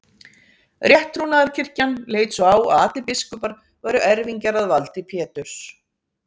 rétttrúnaðarkirkjan leit svo á að allir biskupar væru erfingjar að valdi péturs